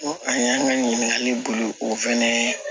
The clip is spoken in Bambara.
Ko an y'an ka ɲininkali boli o fɛnɛ ye